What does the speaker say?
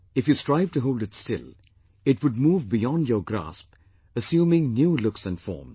If you strive to hold it still, it would move beyond your grasp assuming new looks and forms